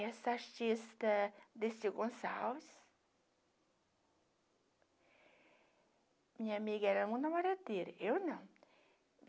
Essa artista, Dercy Gonçalves, minha amiga era namoradeira, eu não.